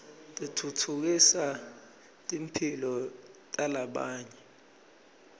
titfutfukisa timphilo talabanye